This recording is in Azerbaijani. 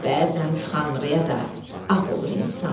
Bəzən Tanrıya da ağ olur insan.